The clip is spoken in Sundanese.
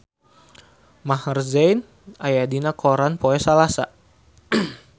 Maher Zein aya dina koran poe Salasa